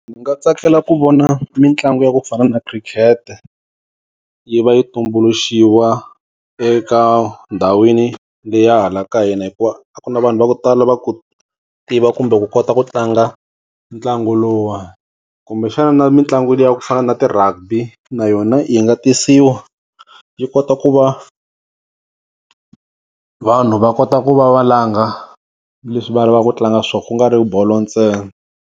Ndzi nga tsakela ku vona mitlangu ya ku fana na khirikete yi va yi tumbuluxiwa eka ndhawini leyi hala ka hina hikuva a ku na vanhu va ku tala va ku tiva kumbe ku kota ku tlanga ntlangu lowuwani kumbe xana na mitlangu liya ku fana na ti-rugby na yona yi nga tisiwa yi kota ku va vanhu va kota ku va va langa leswi va lavaka ku tlanga swoho ku nga ri bolo ntsena.